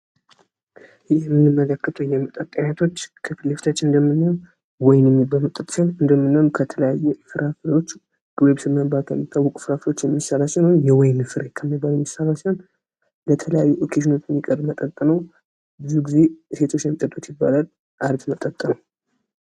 ይህ የምንመለከተው የመጠጥ አይነቶች ከፊትለፊታችን እንደምናየው ወይን የሚባል መጠጥ ሲሆን፤ ከወይንና ከተለያየ ፍራፍሬዎች የሚሰራ ሲሆን የወይን ፍሬ ከሚባል የሚሰራ ሲሆን ለተለያዩ ኦኬዥኖች የሚቀርብ መጠጥ ነው። ብዙ ጊዜ ሴቶች ናቸው የሚጠጡት ይባላል አሪፍ መጠጥ ነው።